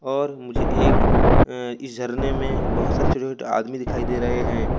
और मुझे एक इशारने में बहुत सारे चुटकुले आदमी दिखाई दे रहे हैं।